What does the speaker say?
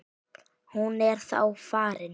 Hún er þá farin.